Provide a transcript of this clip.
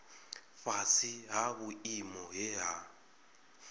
fhasi ha vhuimo he ha